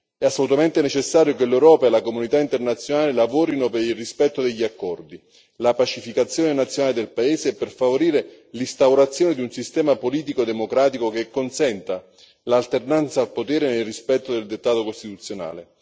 È assolutamente necessario che l'Europa e la comunità internazionale lavorino per il rispetto degli accordi, la pacificazione nazionale del paese e per favorire l'instaurazione di un sistema politico democratico che consenta l'alternanza al potere, nel rispetto del dettato costituzionale.